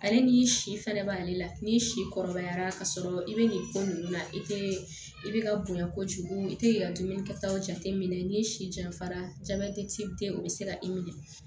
Ale ni si fɛnɛ b'ale la ni si kɔrɔbayara ka sɔrɔ i bɛ nin ko ninnu na i tɛ i bɛ ka bonya kojugu i tɛ i ka dumuni kɛ taw jate minɛ n'i si janfara jabɛti te o be se ka i minɛ